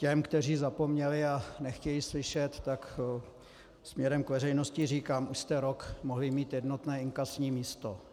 Těm, kteří zapomněli a nechtějí slyšet, tak směrem k veřejnosti říkám: Už jste rok mohli mít jednotné inkasní místo.